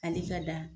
Hali ka da